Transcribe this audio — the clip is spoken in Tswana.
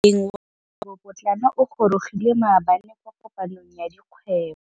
Moêng wa dikgwêbô pôtlana o gorogile maabane kwa kopanong ya dikgwêbô.